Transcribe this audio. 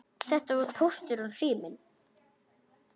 Þetta voru Póstur og Sími.